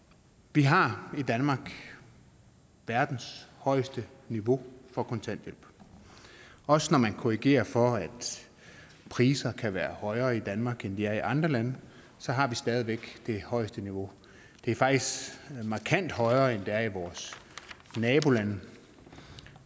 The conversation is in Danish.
vi har i danmark verdens højeste niveau for kontanthjælp også når man korrigerer for at priserne kan være højere i danmark end de er i andre lande har vi stadig væk det højeste niveau det er faktisk markant højere end det er i vores nabolande